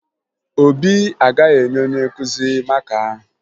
Obi agaghị enye onye nkụzi maka ahụ